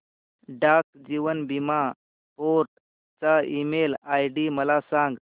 डाक जीवन बीमा फोर्ट चा ईमेल आयडी मला सांग